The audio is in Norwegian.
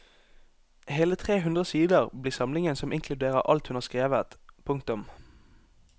Hele tre hundre sider blir samlingen som inkluderer alt hun har skrevet. punktum